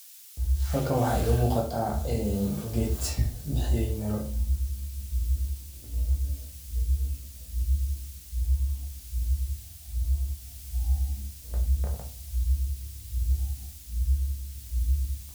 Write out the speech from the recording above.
Halkan waxaa iiga muuqataa geed bixiye Miro.